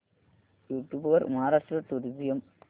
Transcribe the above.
YouTube वर Maharashtra tourism दाखव